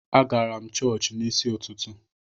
Agara m chọọchị n’isi ụtụtụ